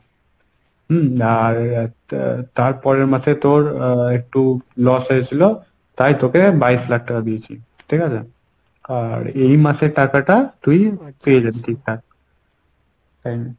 হম আর তার পরের মাসে তোর আহ একটু loss হয়েছিল তাই তোকে বাইশ লাখ টাকা দিয়েছি। ঠিকাছে? আর এই মাসের টাকাটা তুই পেয়ে যাবি ঠিকঠাক time এ।